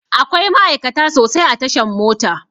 Akwai ma'aikata sosai a tashan mota